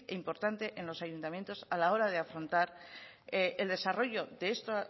importante en los ayuntamientos a la hora de afrontar el desarrollo de esta